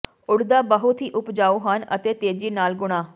ਉੱਡਦਾ ਬਹੁਤ ਹੀ ਉਪਜਾਊ ਹਨ ਅਤੇ ਤੇਜ਼ੀ ਨਾਲ ਗੁਣਾ